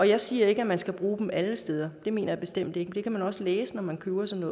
jeg siger ikke at man skal bruge dem alle steder det mener jeg bestemt ikke og det kan man også læse når man køber sådan